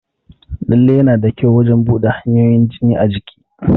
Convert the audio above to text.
Lalle yana da kyau wajan buɗa hanyoyin jini a jiki